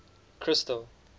crystal